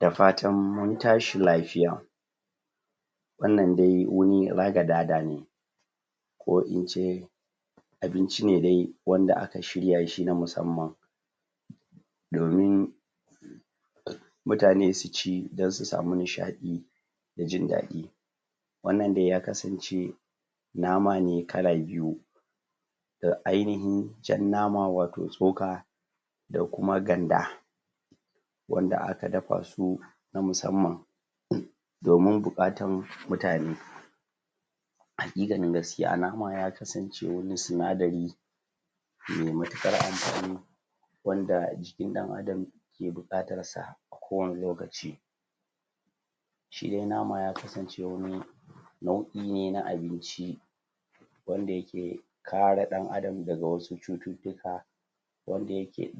da fatan mun tashi lafiya wannan dai wani ragadada ne ko ince ko ince abinci ne da aka shirya na musamman domin mutane suci don su sami nishaɗi da jin daɗi wannan dai ya kasance nama ne kala biyu da ainihin jan nama wato tsoka da kuma ganda wanda aka dafa su na musamman domin bukatar mutane haƙikanin gaskiya nama ya kasance wani sinadari mai matukar amfani wanda jikin dan adam ke bukatar sa ko wani lokaci shidai nama ya kasan ce wani nau'i ne na abinci wanda ya ke kare dan adam daga wasu cuttutuka wanda ya ke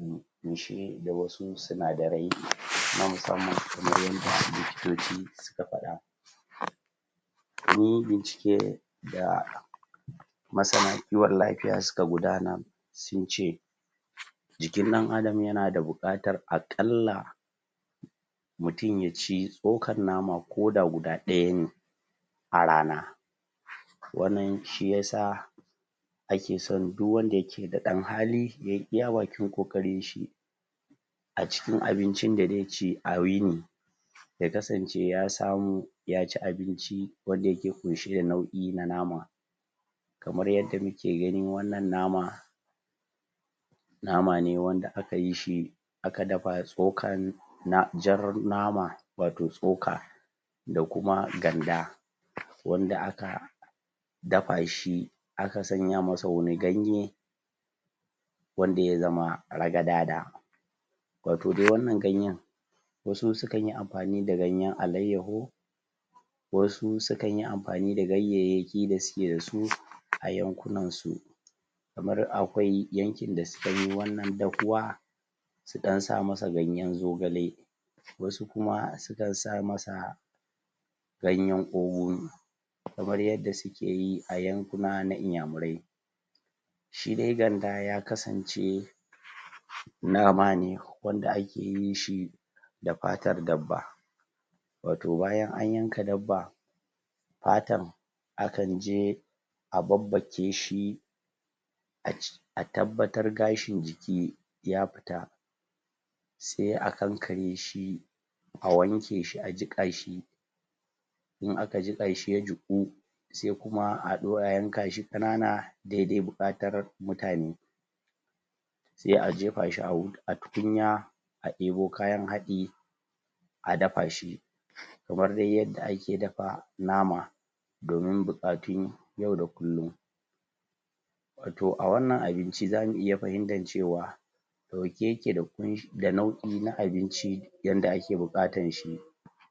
ƙunshe da wasu sinadarai na musamman kamar yadda likitoci suka fada munyi bincike da masana kiwon lafiya suka guda nar sunce jikin dan adam yana da bukatar aƙalla mutum yaci tsokar mana ko da guda daya ne a rana wannan shiya sa duk wanda yake da danhali yayin iya bakin koƙarinshi acikin abincin da zaici a yini ya kasance ya samu yaci abinci wanda yake ƙunshe da nau'i na nama kamar yadda muke ganin wannan nama nama ne wanda aka yishi aka dafa tsokan jar nama wato tsoka da kuma ganda wanda aka dafashi a ka samishi wani ganye wanda ya zama ragadada wato dai wannan ganyen wasu sukanyi amfani da ganyen alaiyaho wasu sukanyi amfani da ganyayakin da suke dasu a yankunana su kamar akwai yankin da suke yin wannan dahuwa su dan sa masa ganyen zogale wasu kuma sukan sama sa ganyen ogun kamar yadda sukeyi a yankuna na iyamurai shi dai ganda ya kasance nama ne wanda akeyin shi da fatar dabba wato bayan an yanka dabba fatan akan je a babbakeshi a tabbatar gashin jiki ya fita sai a kankareshi a wanke shi a jiƙashi in aka jiƙashi ya jiƙu sai kuma ayankashi ƙanana dai dai buƙatar mutane sai a jefashi a tukunya a debo kayan hadi a dafashi kamar dai yadda ake dafa nama domin bukatun yau da kullum wato a wannan abinci zamu iya fahimtar cewa dauke ya ke da nau'i na abinci yanda ake bukatanshi